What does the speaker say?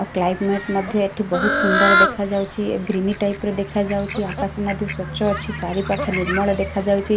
ଆଉ କ୍ଲାଇମେଟ୍ ମଧ୍ୟ ଏଠି ବୋହୁତ ସୁନ୍ଦର ଦେଖାଯାଉଛି। ଗ୍ରିନି ଟାଇପ୍ ର ଦେଖାଯାଉଛି। ଆକାଶ ମଧ୍ୟ ସ୍ୱଚ୍ଛ ଅଛି। ଚାରିପାଖ ନିର୍ମଳ ଦେଖାଯାଉଚି।